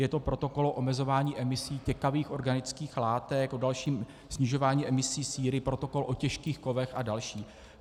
Je to protokol o omezování emisí těkavých organických látek, o dalším snižování emisí síry, protokol o těžkých kovech a další.